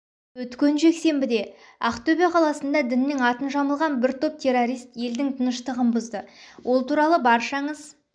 өткен жексенбіде ақтөбе қаласында діннің атын жамылған бір топ террорист елдің тыныштығын бұзды ол туралы баршаңыз